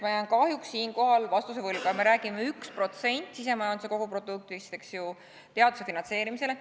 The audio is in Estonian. Ma jään kahjuks siinkohal vastuse võlgu, aga me räägime 1% sisemajanduse koguproduktist, eks ju, teaduse finantseerimisele.